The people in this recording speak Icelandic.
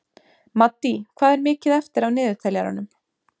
Maddý, hvað er mikið eftir af niðurteljaranum?